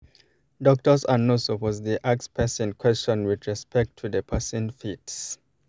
doctors and nurse supposed dey ask person question with respect to the person faith